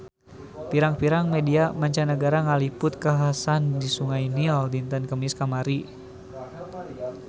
Pirang-pirang media mancanagara ngaliput kakhasan di Sungai Nil dinten Kemis kamari